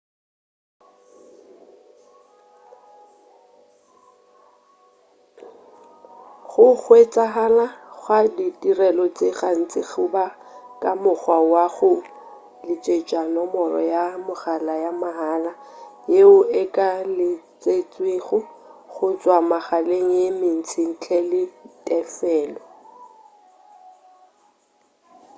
go hwetšagala ga ditirelo tše gantši go ba ka mokgwa wa go letšetša nomoro ya mogala ya mahala yeo e ka letšetšwego go tšwa megaleng ye mentši ntle le tefelo